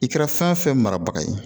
I kɛra fɛn fɛn marabaga ye